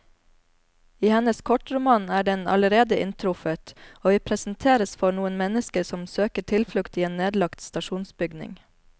I hennes kortroman er den allerede inntruffet, og vi presenteres for noen mennesker som søker tilflukt i en nedlagt stasjonsbygning.